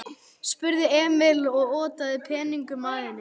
spurði Emil og otaði peningunum að henni.